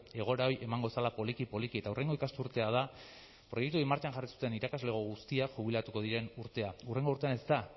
egoera hori emango zela poliki poliki eta hurrengo ikasturtea da proiektu hori martxan jarri zuten irakaslego guztiak jubilatuko diren urtea hurrengo urtean ez da